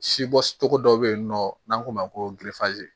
Si bɔ cogo dɔ bɛ yen nɔ n'an k'o ma ko